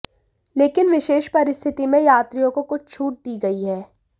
लेकिन विशेष परिस्थिति में यात्रियों को कुछ छूट दी गई हैं